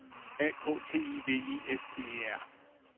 A K T I V I S T E R